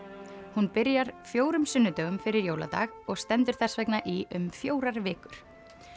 hún byrjar fjórða sunnudag fyrir jóladag og stendur þess vegna í um fjórar vikur